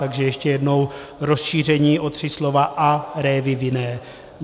Takže ještě jednou: rozšíření o tři slova: "a révy vinné".